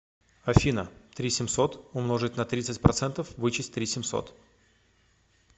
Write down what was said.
афина три семьсот умножить на тридцать процентов вычесть три семьсот